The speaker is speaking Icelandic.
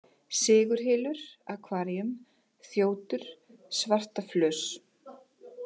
Sigurhylur, Aquarium, Þjótur, Svartaflös